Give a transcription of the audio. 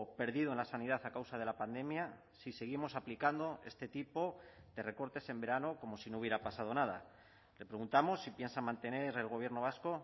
perdido en la sanidad a causa de la pandemia si seguimos aplicando este tipo de recortes en verano como si no hubiera pasado nada le preguntamos si piensa mantener el gobierno vasco